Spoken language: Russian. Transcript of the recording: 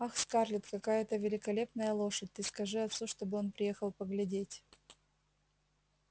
ах скарлетт какая это великолепная лошадь ты скажи отцу чтобы он приехал поглядеть